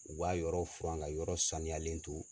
U b'a yɔrɔ fura ka yɔrɔ saniyalen to.